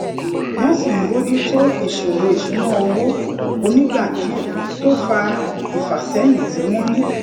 wón sì ń bójú tó ìṣòro ìṣúnná owó onigba die to fa ifaseyin tí wón ní